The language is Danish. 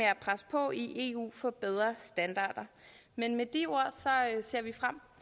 at presse på i eu for bedre standarder med med de ord ser vi frem